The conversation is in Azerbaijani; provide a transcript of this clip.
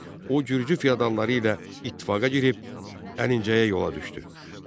O gürcü feodalları ilə ittifaqa girib Əlincəyə yola düşdü.